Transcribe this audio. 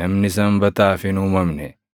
namni Sanbataaf hin uumamne.